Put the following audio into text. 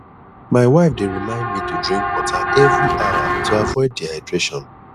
my wife dey remind me to drink water every hour to avoid dehydration